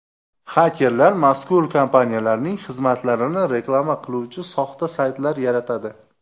Xakerlar mazkur kompaniyalarning xizmatlarini reklama qiluvchi soxta saytlar yaratadi.